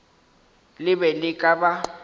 le be le ka ba